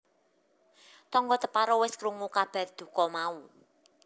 Tangga teparo wis krungu kabar duka mau